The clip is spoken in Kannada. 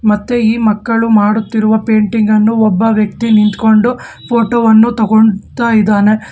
ಮತ್ತು ಈ ಮಕ್ಕಳು ಮಾಡುತ್ತಿರುವ ಪೇಂಟಿಂಗ್ ಅನ್ನು ಒಬ್ಬ ವ್ಯಕ್ತಿನಿಂತ ಕೊಂಡು ಫೋಟೋ ವನ್ನು ತುಗೋಂತಾಇದಾನೆ.